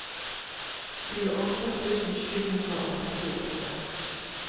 tjueåtte tusen sju hundre og trettiåtte